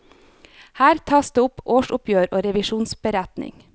Her tas det opp årsoppgjør og revisjonsberetning.